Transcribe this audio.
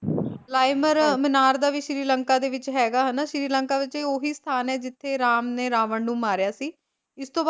ਲਾਈਮਰ ਮੀਨਾਰ ਦਾ ਵੀ ਸ਼੍ਰੀ ਲੰਕਾ ਦੇ ਵਿੱਚ ਹੈਗਾ ਹਨਾਂ ਸ਼੍ਰੀ ਲੰਕਾ ਵਿੱਚ ਇਹ ਉਹੀ ਸਥਾਨ ਆ ਜਿੱਥੇ ਰਾਮ ਨੇ ਰਾਵਣ ਨੂੰ ਮਾਰਿਆ ਸੀ, ਹਾਂਜੀ ਇਸਤੋਂ